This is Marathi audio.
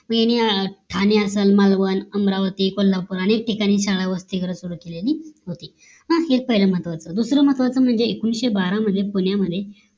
मग यांनी ठाणे असेल मालवण अमरावती कोल्हापूर अनेक ठिकाणी शाळा वसतिगृह सुरु केलल होती हीच पाहिलं महत्वाची गोष्ट दुसरं महत्वाची म्हणजे एकोणीशे बारा मध्ये पुण्या मध्ये